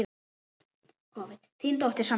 Þín dóttir, Sandra.